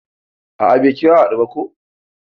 A'a bai kira a hadu ko ba.